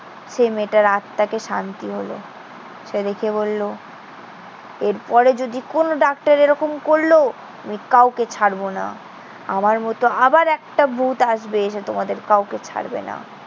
সে মেয়েটার আত্মাকে শান্তি হলো। সে ডেকে বললো, এরপরে যদি কোনো ডাক্তার এরকম করল, আমি কাউকে ছাড়বো না। আমার মতো আবার একটা ভুত আসবে। সে তোমাদের কাউকে ছাড়বে না।